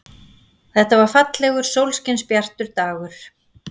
Þetta var fallegur, sólskinsbjartur dagur.